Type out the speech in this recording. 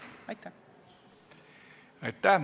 Aitäh!